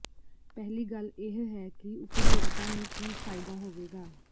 ਪਹਿਲੀ ਗੱਲ ਇਹ ਹੈ ਕਿ ਉਪਭੋਗਤਾ ਨੂੰ ਕੀ ਫਾਇਦਾ ਹੋਵੇਗਾ